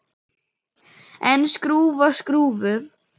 En skrúfa skrúfu?